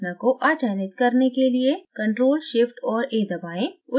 संरचना को अचयनित करने के लिए ctrl shift और a दबाएं